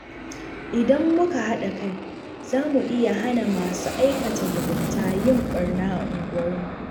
Idan muka haɗa kai, za mu iya hana masu aikata mugunta yin barna a unguwarmu.